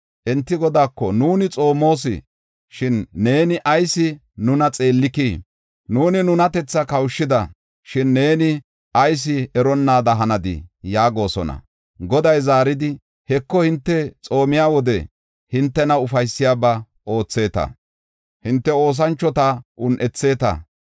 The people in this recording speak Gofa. Enti Godaako, ‘Nuuni xoomos, shin neeni ayis nuna xeellikii? Nuuni nunatethaa kawushida, shin neeni ayis eronnaada hanadi’ yaagosona. Goday zaaridi, ‘Heko, hinte xoomiya wode hintena ufaysiyabaa ootheeta; hinte oosanchota un7etheeta.’